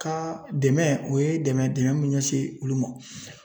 Kaa dɛmɛ o ye dɛmɛ ye dɛmɛ min be ɲɛsin olu ma